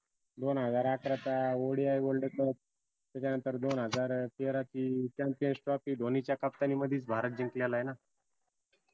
दोन हजार अकाराचा ODIworldcup त्याच्या नंतर दोन हजार तेराची Championstrophy धोनीच्या captan नी मदीच भारत जिंकलेलाय ना